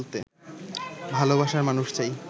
ভালবাসার মানুষ চাই